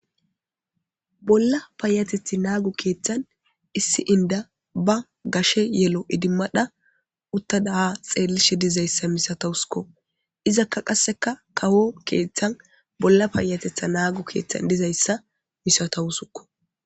Bolla payateththi nago keeththan issi indda ba gashe yello iddimada uttada xeellizayssa dizayssa misatawuskko ,izakka qase kawo keeththan bolla payateththi nago keeththan dizayssa misatawuskko.